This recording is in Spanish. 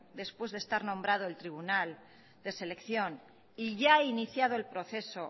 después de estar nombrado el tribunal de selección y ya iniciado el proceso